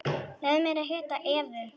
Leyfðu mér að hitta Evu.